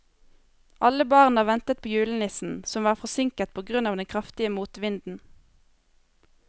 Alle barna ventet på julenissen, som var forsinket på grunn av den kraftige motvinden.